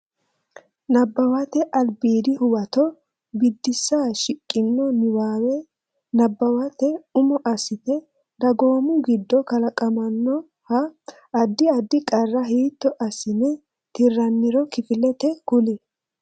Nabbawate Albiidi Huwato Biddissa Shiqqino niwaawe nabbawate umo assite dagoomu giddo kalaqamannoha addi addi qarra hiitto assine tirranniro kifilete kuli.